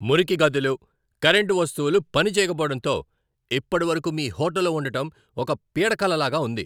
మురికి గదులు, కరెంటు వస్తువులు పనిచేయకపోవడంతో ఇప్పటివరకు మీ హోటల్లో ఉండటం ఒక పీడకలలాగా ఉంది.